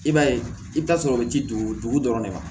I b'a ye i bɛ taa sɔrɔ o bɛ ji dugu dɔrɔn de ma